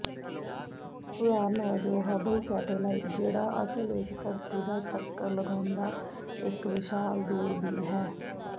ਉਦਾਹਰਣ ਵਜੋਂ Hubble satellite ਜਿਹੜਾ ਅਸਲ ਵਿੱਚ ਧਰਤੀ ਦਾ ਚੱਕਰ ਲਗਾਉਂਦਾ ਇੱਕ ਵਿਸ਼ਾਲ ਦੂਰਬੀਨ ਹੈ